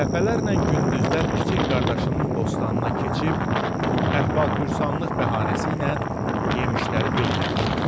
Dəfələrlə gündüzlər kiçik qardaşının bostanına keçib əhval-pürsanlıq bəhanəsi ilə yemişləri belləmişdi.